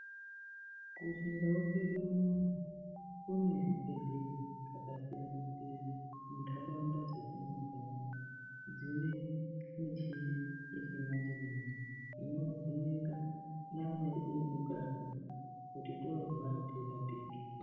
Kuchindau kwedu unono kune zvibhedhlera zvakasiyana-siyana mundaraunda dzetinigara, dzine michini yechimanje-manje, inovheneka nyama yedu yemukati, kuti toorwara tirapike.